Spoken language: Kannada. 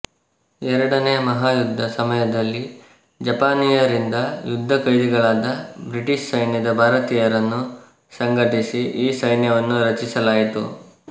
ಎರಡನೆಯ ಮಹಾಯುಧ್ಧದ ಸಮಯದಲ್ಲಿ ಜಪಾನಿಯರಿಂದ ಯುಧ್ಧ ಕೈದಿಗಳಾದ ಬ್ರಿಟಿಷ್ ಸೈನ್ಯದ ಭಾರತೀಯರನ್ನು ಸಂಘಟಿಸಿ ಈ ಸೈನ್ಯ ವನ್ನು ರಚಿಸಲಾಯಿತು